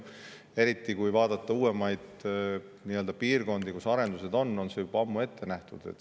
Eriti uuemates piirkondades, kus on arendused, on see juba ammu ette nähtud.